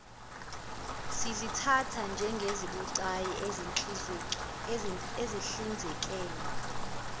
sizithatha njengezibucayi ekuhlinzekweni